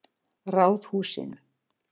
Ráðhúsinu